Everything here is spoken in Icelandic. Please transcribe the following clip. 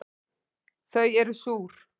Þau eru súr